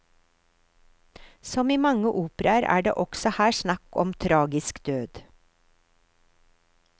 Som i mange operaer er det også her snakk om tragisk død.